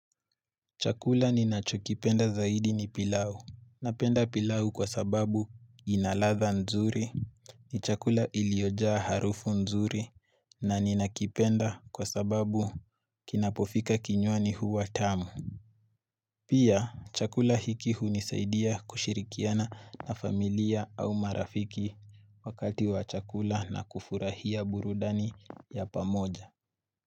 Chakula ninachokipenda zaidi ni pilau. Napenda pilau kwa sababu inaladha nzuri, ni chakula iliyojaa harufu nzuri, na ninakipenda kwa sababu kinapofika kinywani huwa tamu. Pia, chakula hiki hu nisaidia kushirikiana na familia au marafiki wakati wa chakula na kufurahia burudani ya pamoja.